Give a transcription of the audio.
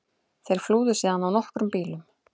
Þeir flúðu síðan á nokkrum bílum